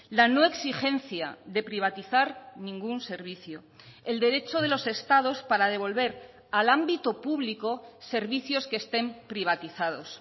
la no exigencia de privatizar ningún servicio el derecho de los estados para devolver al ámbito público servicios que estén privatizados